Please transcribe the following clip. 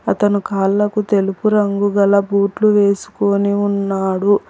అతను కాళ్లకు తెలుపు రంగుగల బూట్లు వేసుకుని ఉన్నాడు.